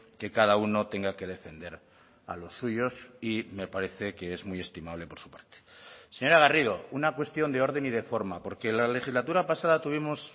que cada uno tenga que defender a los suyos y me parece que es muy estimable por su parte señora garrido una cuestión de orden y de forma porque la legislatura pasada tuvimos